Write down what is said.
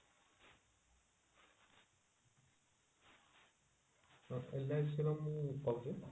LIC ର ମୁଁ କହୁଛି